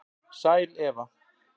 Sæl Eva